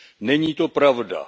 Není to pravda.